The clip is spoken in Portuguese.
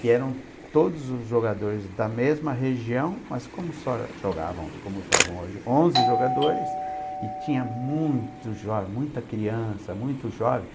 que eram todos os jogadores da mesma região, mas como só jogavam, como jogam hoje, onze jogadores, e tinha muito jovem, muita criança, muito jovem.